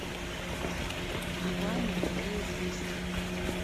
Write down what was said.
врубай на тв известия